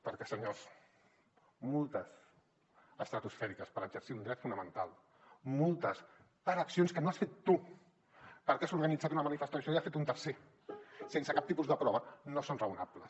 perquè senyors multes estratosfèriques per exercir un dret fonamental multes per accions que no has fet tu perquè has organitzat una manifestació i ho ha fet un tercer sense cap tipus de prova no són raonables